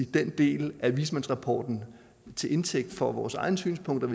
den del af vismandsrapporten til indtægt for vores egne synspunkter